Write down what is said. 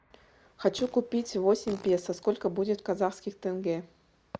хочу купить восемь песо сколько будет в казахских тенге